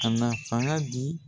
Ka na fanga di